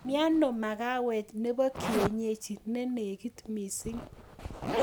Mieno magawet nebo kienyeji nenegit mising